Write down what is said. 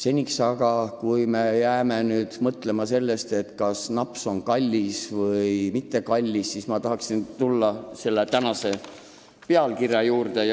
Esialgu aga mõtleme sellest, kas naps on kallis või mitte, ent ma tahan tulla tänase eelnõu pealkirja juurde.